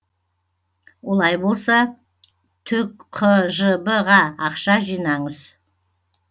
олай болса түқжб ға ақша жинаңыз